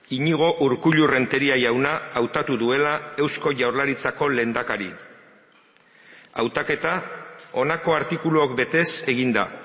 iñigo urkullu renteria jauna hautatu duela eusko jaurlaritzako lehendakari hautaketa honako artikuluok betez egin da